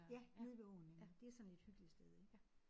Ja nede ved åen ik. Det er sådan et hyggeligt sted ik